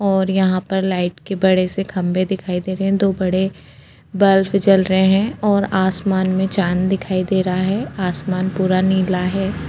और यहाँ पर लाइट के बड़े से खंबे दिखाई दे रहे हैं दो बड़े बल्फ जल रहे हैं और आसमान में चाँद दिखाई दे रहा है आसमान पूरा नीला है।